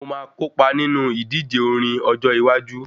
Mo máa kópa nínú ìdíje orin ọjọ iwájú